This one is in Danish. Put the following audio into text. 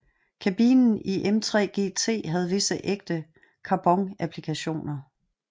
Kabinen i M3 GT havde visse ægte carbonapplikationer